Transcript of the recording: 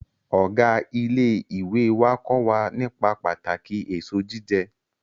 Ọ̀gá ilé ìwé wá kó wa nípa pàtàkì èso jíjẹ